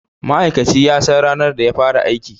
Ma'aikaci ya san ranar da ya fara aiki